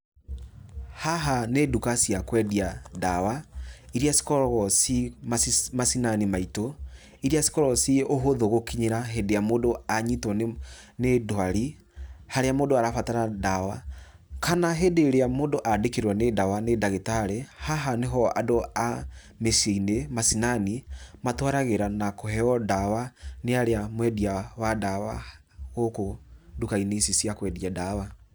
Haha nĩ nduka cia kwendia ndawa, irĩa cikoragwo ci macinani maitũ, iria cikoragwo ci hũthũ gũkinyĩra hĩndĩ ĩrĩa mũndũ anyitwo nĩ ndwari harĩa mũndũ arabatara ndawa. Kana hĩndĩ ĩrĩa mũndũ andĩkĩrwo nĩ ndawa nĩ ndagĩtarĩ, haha nĩho andũ a mĩciĩ-inĩ macinani matwaragĩra na kũheyo ndawa nĩ arĩa mwendia wa ndawa, gũkũ nduka-inĩ ici cia kwendia ndawa.